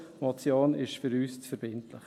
Eine Motion ist für uns zu verbindlich.